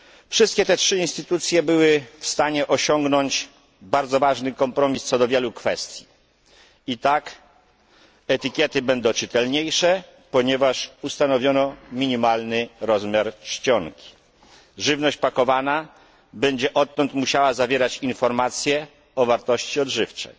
Wszystkie te trzy instytucje były w stanie osiągnąć bardzo ważny kompromis w wielu kwestiach etykiety będą czytelniejsze, ponieważ ustanowiono minimalny rozmiar czcionki, żywność pakowana będzie odtąd musiała zawierać informacje o wartościach odżywczych,